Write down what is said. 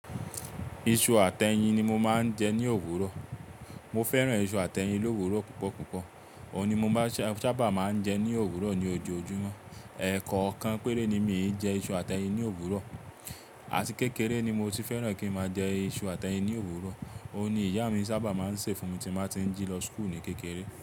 Iṣu àti ẹyin ni mo máa ń jẹ ní òwúrọ̀. Mo fẹ́ràn iṣu àti ẹyin l'òwúrọ̀ púpọ̀ púpọ̀. Òun ni mo sábà máa ń jẹ ní òwúrọ̀ ní ojoojúmọ́. Ẹ̀ẹ̀kọ̀kan péré ni míì jẹ iṣu àti ẹyin ní òwúrọ̀. Àti kékeré ni mo ti fẹ́ràn kí n máa jẹ iṣu àti ẹyin ní òwúrọ̀. Òun ni ìyá mi sábà máa ń sè fún mi tí n bá ti ń jí lọ school ní kékeré.